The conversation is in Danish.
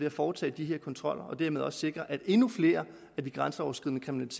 at foretage de her kontroller og dermed også sikre at endnu flere af de grænseoverskridende